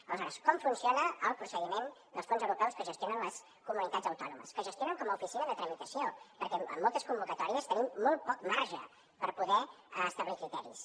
aleshores com funciona el procediment dels fons europeus que gestionen les comunitats autònomes que gestionen com a oficina de tramitació perquè en moltes convocatòries tenim molt poc marge per poder establir criteris